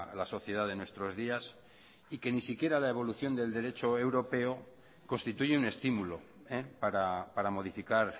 la sociedad de nuestros días y que ni siquiera la evolución del derecho europeo constituye un estímulo para modificar